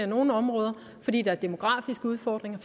nogle områder fordi der er demografiske udfordringer